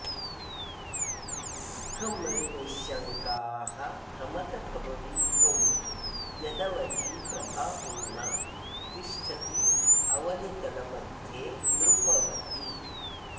सुखं रे निःशङ्काः भ्रमत भववीथौ यदवधि प्रभापूर्णा तिष्ठत्यवनितलमध्ये नृपवती